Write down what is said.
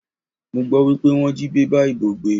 Mo gbọ́ wípé wọ́n jí bébà ìbò gbé.